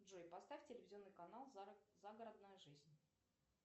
джой поставь телевизионный канал загородная жизнь